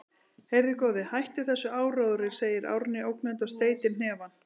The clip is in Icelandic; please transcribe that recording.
Heyrðu, góði, hættu þessum áróðri, segir Árný ógnandi og steytir hnefann.